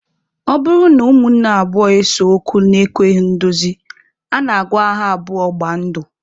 Ọ bụrụ na ụmụnne abụọ ese okwu na-ekweghị ndozi, a na-agwa ha abụọ gbaa ndụ.